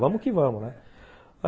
Vamos que vamos, né?